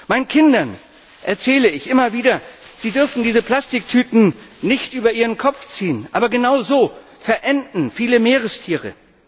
Meinen Kindern erzähle ich immer wieder, sie dürfen diese Plastiktüten nicht über ihren Kopf ziehen, aber genau so verenden viele Meerestiere.